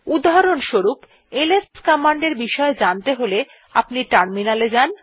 উদাহরণ স্বরূপ LS command এর বিষয়ে জানতে হলে আপনি টার্মিনালে যান